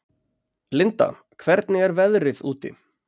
Linda, hvernig er veðrið úti?